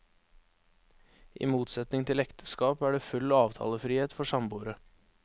I motsetning til ekteskap er det full avtalefrihet for samboere.